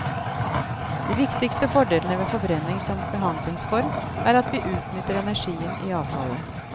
De viktigste fordelene ved forbrenning som behandlingsform er, at vi utnytter energien i avfallet.